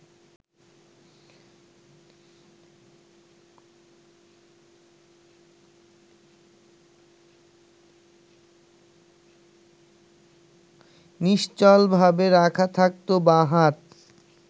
নিশ্চলভাবে রাখা থাকত বাঁ হাত